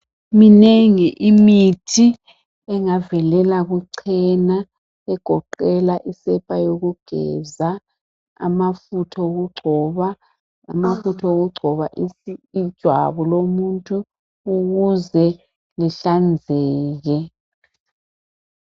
Minengi imithi engavelela kuchena egoqela isepa yokugeza, amafutha okugcoba, amafutha okugcoba ijwabu lomuntu ukuze lihlanzeke.